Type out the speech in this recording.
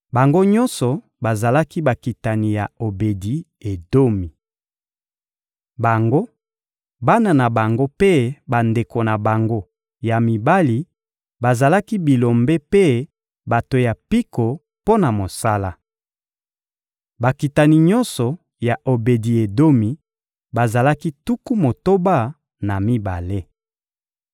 Bango nyonso bazalaki bakitani ya Obedi-Edomi. Bango, bana na bango mpe bandeko na bango ya mibali bazalaki bilombe mpe bato ya mpiko mpo na mosala. Bakitani nyonso ya Obedi-Edomi bazalaki tuku motoba na mibale.